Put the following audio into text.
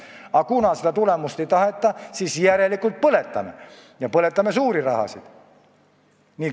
Aga kuna tulemust ei taheta, siis järelikult põletame, ja põletame suuri rahasid.